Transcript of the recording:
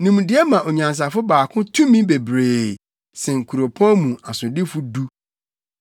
Nimdeɛ ma onyansafo baako tumi bebree sen kuropɔn mu asodifo du.